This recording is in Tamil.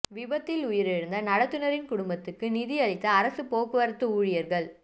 விபத்தில் உயிரிழந்த நடத்துநரின் குடும்பத்துக்கு நிதி அளித்த அரசுப் போக்குவரத்து ஊழியா்கள்